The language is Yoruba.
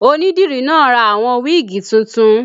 Onídìrí náà ra àwọn wíìgì tuntun